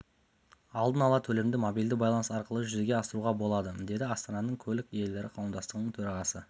алдын ала төлемді мобильді байланыс арқылы жүзеге асыруға болады деді астананың көлік иелері қауымдастығының төрағасы